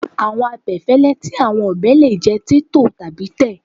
Awọn abẹfẹlẹ ti awọn ọbẹ le jẹ titọ tabi tẹ